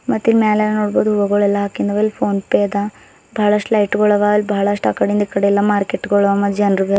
ಮತ್ತಿಲ್ ಮ್ಯಾಲ್ ನೋಡ್ಬೋಡು ಹೂವಗಲೆಲ್ಲ ಅಕಿಂದವ ಇಲ್ ಫೋನ್ ಪೇ ಅದ ಬಳಸ್ಟ್ ಲೈಟ್ ಗೊಳವ ಅಲ್ಲಿ ಬಳಸ್ಟ್ ಅಕಡಿಂದ್ ಇಕಡಿ ಎಲ್ಲಾ ಮಾರ್ಕೆಟ್ ಗೋಳು ಅವ ಮತ್ತೆ ಜನ್ರು ಬೀ--